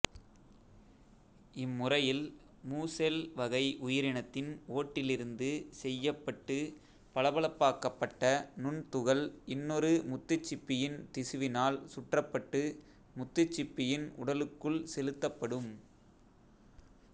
இம்முறையில் முசெல் வகை உயிரினத்தின் ஓட்டிலிருந்து செய்யப்பட்டுப் பளபளப்பாக்கப்பட்ட நுண்துகள் இன்னொரு முத்துச்சிப்பியின் திசுவினால் சுற்றப்பட்டு முத்துச்சிப்பியின் உடலுக்குள் செலுத்தப்படும்